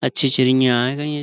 اچھی چیڑییا چی گی یں۔.